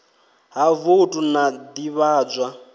ha voutu na u ḓivhadzwa